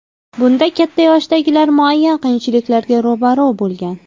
Bunda katta yoshdagilar muayyan qiyinchiliklarga ro‘baro‘ bo‘lgan.